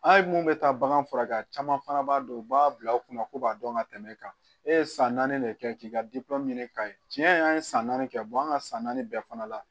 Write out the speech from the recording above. An ye mun bɛ taa bagan furakɛ caman fana b'a dɔn u b'a bila u kunna ko b'a dɔn ka tɛmɛ e kan e ye san naani de kɛ k'i ka ɲini k'a ye tiɲɛ yɛrɛ an ye san naani kɛ an ka san naani bɛɛ fana la